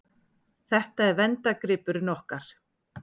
Þetta er verndargripurinn okkar.